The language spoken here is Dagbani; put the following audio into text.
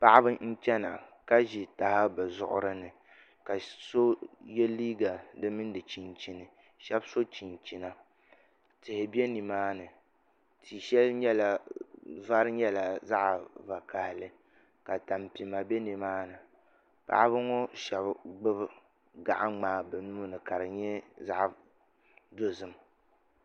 Paɣaba n chɛna ka ʒi taha bi zuɣuri ni ka so yɛ liigq di mini di chinchini shab so chinchina tihi bɛ nimaani tia shɛli vari nyɛla zaɣ vakaɣali ka tampima bɛ nimaani paɣaba ŋo shab gbubi gaɣa ŋmaa bi nuuni ka di nyɛ zaɣ dozim